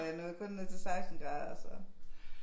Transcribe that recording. Og jeg nåede kun ned til 16 grader så